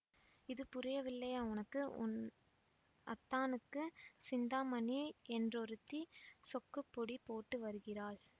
இது புரியவில்லையா உனக்கு உன் அத்தானுக்குச் சிந்தாமணி என்றொருத்தி சொக்குப்பொடி போட்டு வருகிறாள்